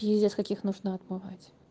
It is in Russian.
пиздец как их нужно отмывать